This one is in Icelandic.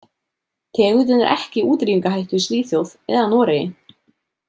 Tegundin er ekki í útrýmingarhættu í Svíþjóð, eða Noregi.